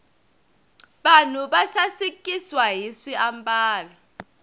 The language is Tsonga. vanhu va sasikiswa hi swiambalo